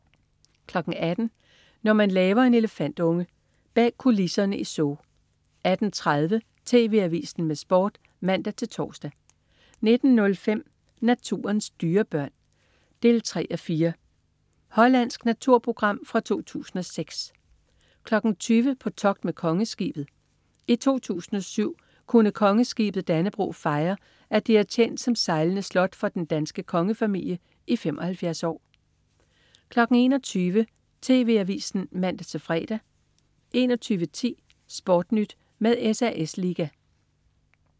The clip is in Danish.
18.00 Når man laver en elefantunge. Bag kulisserne i Zoo 18.30 TV Avisen med Sport (man-tors) 19.05 Naturens dyrebørn 3:4. Hollandsk naturprogram fra 2006 20.00 På togt med Kongeskibet. I 2007 kunne Kongeskibet Dannebrog fejre, at det har tjent som sejlende slot for den danske kongefamilie i 75 år 21.00 TV Avisen (man-fre) 21.10 SportNyt med SAS liga